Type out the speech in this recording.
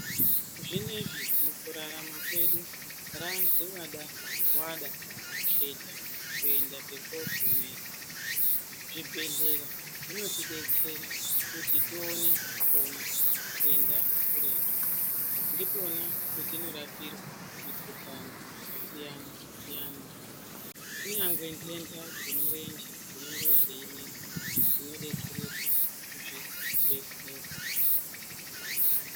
Zvinezvi mukurarama kwedu radziwada-wada kuketa kuenda pekokumira , zvibhedhlera zvinoti detsera kuti tione kuona kuenda kuretu ndipona patinorapirwa mikhuhlani yakasiyana siyana ,kunyangwe ndenda dzemurenje dzinonga dzeinesa tinodetsereka kuzvibhedhlera.